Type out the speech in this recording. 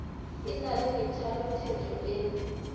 e na le methalotheto e